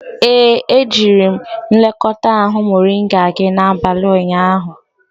Ee, ejiri m nlekọta ahụ moringa gị n'abalị ụnyaahụ.